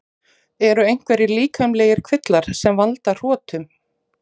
Eru einhverjir líkamlegir kvillar sem valda hrotum?